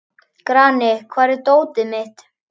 Grani, hvar er dótið mitt?